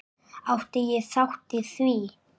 Átti ég þátt í því?